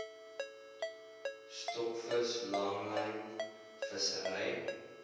stokvis langlyn vissery